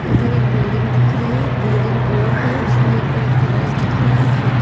इधर एक बिल्डिंग दिख रही है बिल्डिंग गोल है उसमे एक कांच दिख रहा है खिडकी--